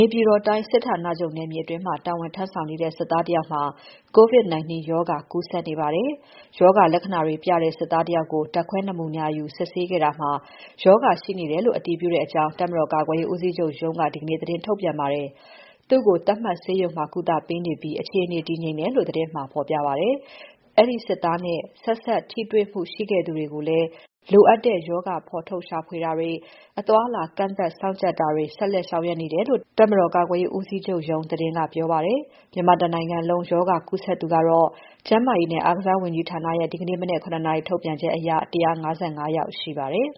ေပြည်တော်တိုင်း စစ်ဌာနချုပ်နယ်မြေအတွင်း တာဝန်ထမ်းဆောင်နေတဲ့ စစ်သားတယောက်မှာ COVID-19 ရောဂါကူးစက်နေပါတယ်။ ရောဂါလက္ခဏာတွေပြတဲ့ စစ်သားတယောက်ကို ဓါတ်ခွဲနမူနာယူ စစ်ဆေးခဲ့တာမှာ ရောဂါရှိနေတယ်လို့ အတည်ပြုကြောင်း တပ်မတော် ကာကွယ်ရေးဦးစီးချုပ်ရုံးက ဒီနေ့ သတင်းထုတ်ပြန်ပါတယ်။ သူ့ကို သတ်မှတ်ဆေးရုံမှာ ကုသပေးနေပြီး အခြေအနေ တည်ငြိမ်တယ်လို့ သတင်းမှာဖော်ပြပါတယ်။ အဲဒီစစ်သားနဲ့ ဆက်စပ်ထိတွေ့မှုရှိခဲ့သူတွေကိုလည်း လိုအပ်တဲ့ရောဂါ ရှာဖွေဖော်ထုတ်ခြင်း၊ အသွားအလာ ကန့်သတ်စောင့်ကြပ် ကြည့်တာတွေ ဆက်လက်ဆောင်ရွက်နေတယ်လို့ တပ်မတော် ကာကွယ်ရေးဦးစီးချုပ်ရုံးသတင်းက ပြောပါတယ်။ မြန်မာတနိုင်ငံလုံး ရောဂါကူးစက်သူကတော့ ကျန်းမာရေးနဲ့ အားကစားဝန်ကြီးဌာနရဲ့ ဒီနေ့ မနက် ၇ နာရီထုတ်ပြန်ချက်အရ ၁၅၅ ယောက်ရှိပါတယ်